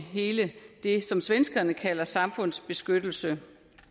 det som svenskerne kalder samfundsbeskyttelse